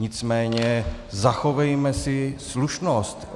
Nicméně zachovejme si slušnost!